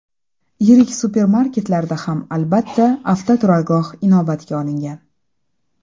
Yirik supermarketlarda ham albatta, avtoturargoh inobatga olingan.